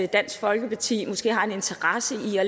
dansk folkeparti måske har en interesse i at